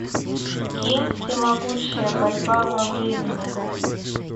ким всемогущая борьба во времени